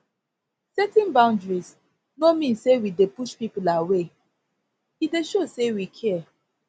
setting boundaries no mean say we dey push people away e dey show sey we care